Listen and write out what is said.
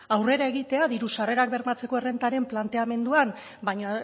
aurrera egitea diru sarrerak bermatzeko errentaren planteamenduan baina